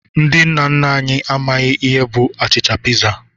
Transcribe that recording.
Ndị nna anyị amaghị ihe bụ achịcha piza.